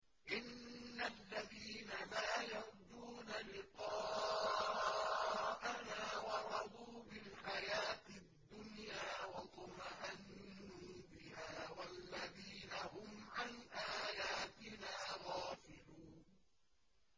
إِنَّ الَّذِينَ لَا يَرْجُونَ لِقَاءَنَا وَرَضُوا بِالْحَيَاةِ الدُّنْيَا وَاطْمَأَنُّوا بِهَا وَالَّذِينَ هُمْ عَنْ آيَاتِنَا غَافِلُونَ